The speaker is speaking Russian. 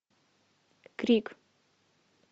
крик